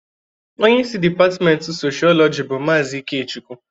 Onye isi dipatmenti Soshọọlọjị bụ Maazị Ikechukwu.